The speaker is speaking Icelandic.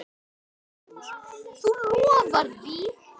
Magnús: Þú lofar því?